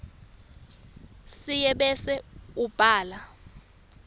sinye bese ubhala